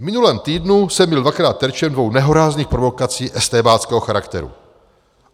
"V minulém týdnu jsem byl dvakrát terčem dvou nehorázných provokací estébáckého charakteru.